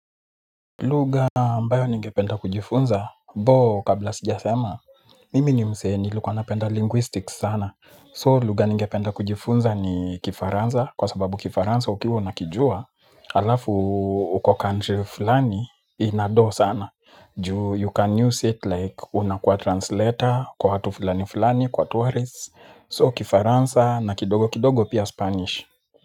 Lugha ambayo ningependa kujifunza ambayo kabla sijasema mimi ni msee nilikuwa napenda linguistics sana so lugha ningependa kujifunza ni kifaransa kwa sababu kifaransa ukiwa unakijua. Alafu uko country fulani ina doo sana. Ju you can use it like unakuwa translator kwa watu fulani fulani kwa tourists. So kifaransa na kidogo kidogo pia spanish.